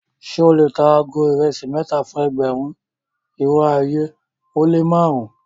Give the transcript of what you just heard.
Ṣẹ o le tà àgó irèsí mẹta fún ẹgbérùn, irò ayé o le màrùn-un?